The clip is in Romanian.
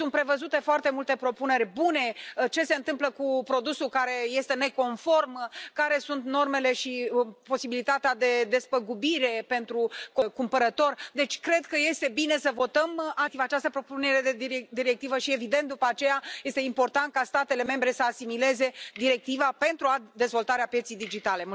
Sunt prevăzute foarte multe propuneri bune ce se întâmplă cu produsul care este neconform, care sunt normele și posibilitatea de despăgubire pentru cumpărător deci cred că este bine să votăm această propunere de directivă și, evident, după aceea, este important ca statele membre să asimileze directiva pentru dezvoltarea pieței digitale.